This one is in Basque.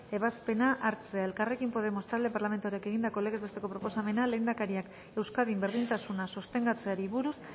ebazpena hartzea elkarrekin podemos talde parlamentarioak egindako legez besteko proposamena lehendakariak euskadin berdintasuna sostengatzeari buruz